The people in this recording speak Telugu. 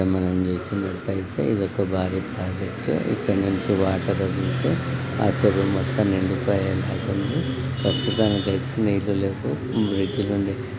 ఇక్కడ మనం నిలుచున్నట్లయితే ఇది ఒక భారీ ప్రాజెక్టు . ఇక్కడి నుంచి వాటర్ వస్తే ఆ చెరువు మొత్తం నిండిపోయి ఉన్నాయి కొన్ని. ప్రస్తుతానికైతే నీళ్లు లేవు. బ్రిడ్జ్ నుండి--